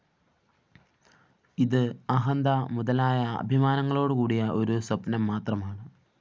ഇത് അഹന്ത മുതലായ അഭിമാനങ്ങളോടുകൂടിയ ഒരു സ്വപ്നം മാത്രമാണ്